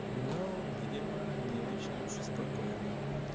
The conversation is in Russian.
ну видимо не очень уж и спокойно